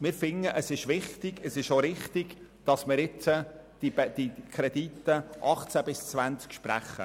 Wir finden es wichtig und auch richtig, dass wir jetzt die Kredite für die Jahre 2018–2020 sprechen.